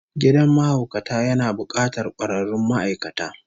Gidan mahaukata yana bukatar kwararrun ma'aikata